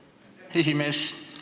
Aitäh, lugupeetud esimees!